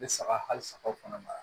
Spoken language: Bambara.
Bɛ saga hali sagaw fana mara